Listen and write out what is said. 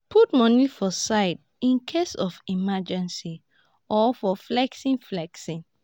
put money for side incase of emergency or for flexing flexing